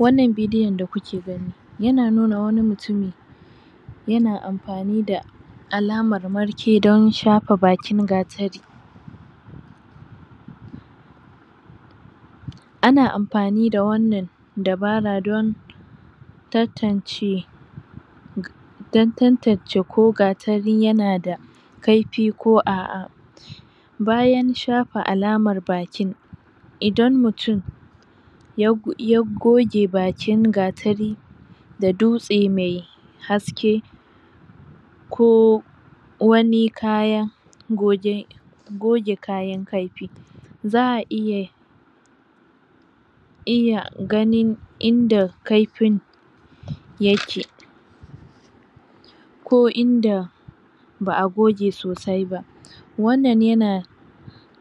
Wannan bidiyon da kuke gani yana nuna wani mutumi yana anfani da alamar marke don shafa bakin gatari ana amfani da wannan dabara don tantance don tantance ko gatari yanada kaifi ko aʼa bayan shafa alamar bakin idan mutum ya goge bakin gatari da dutse mai haske ko wani kaya goge goge kayan kaifi za'a iya iya ganin inda kaifin yake ko inda ba a goge sosai ba wannan yana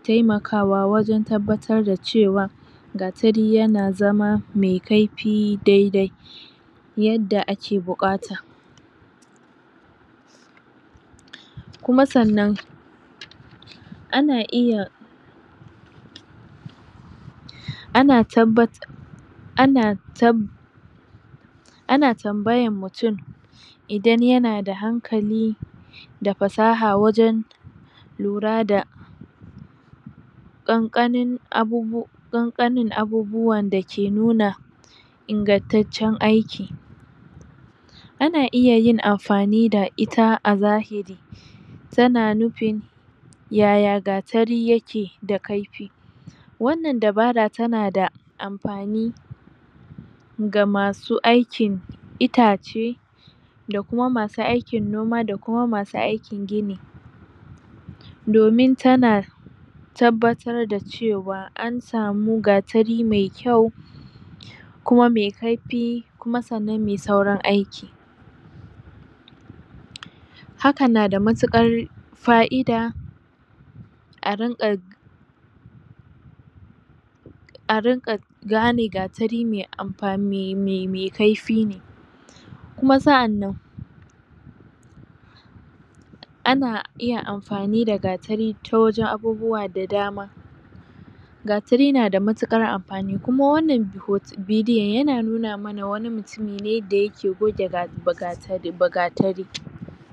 taimakawa wajen nuna cewa gatari yana zama daidai yadda ake bukata kuma san nan ana iya ana tabbatar ana tambaya mutum idan yana da hankali da fasaha wajen lura da ƙanƙanin abubuwanda ke nuna ingantaccen aiki ana iya yin anfani da ita a zahiri tana nufin yaya gatari yakeda kaifi wannan dabara tanada anfani ga masu aikin itace da Kuma masu aikin noma da Kuma masu aikin gini domin tana tabbatar da cewa ansamu gatari mai kyau Kuma mai kaifi Kuma sannan mai saurin aiki hakan na matukarb fa'idah a rinka gane gatari mai kaifi ne, Kuma saʼannan ana iya anfani da gatari ta wajen abubuwa da dama dama gatari na da matuƙar anfani Kuma wannan bidiʼon yana nuna mana wani mutumi ne da yake goge gatari